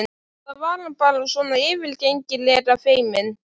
Eða var hann bara svona yfirgengilega feiminn?